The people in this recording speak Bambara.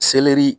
Selɛri